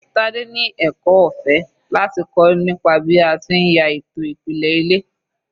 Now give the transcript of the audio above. Tade ni ẹ̀kọ́ ọ̀fẹ́ láti kọ́ nípa bí a ti ń ya ètò ìpìlẹ̀ ilé.